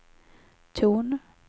ton